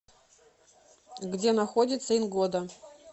где находится ингода